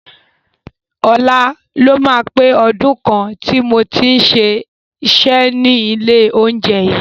Ọ̀la ló máa pé ọdún kan tí mo ti ń ṣiṣẹ́ ní ilé oúnjẹ yìí.